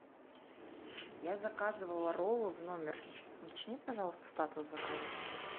я заказывала роллы в номер уточни пожалуйста статус заказа